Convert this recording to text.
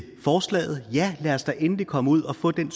forslaget ja lad os da endelig komme ud og få den